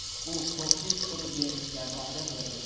U ko‘prik qurib berishga va’da berdi.